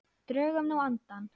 Drögum nú andann.